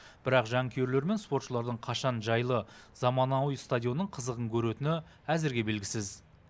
бірақ жанкүйерлер мен спортшылардың қашан жайлы заманауи стадионның қызығын көретіні әзірге белгісіз